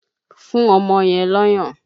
Fún ọmọ yẹn lọ́yàn!